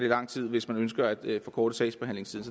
lang tid hvis man ønsker at forkorte sagsbehandlingstiden